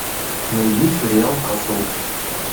найди сериал касл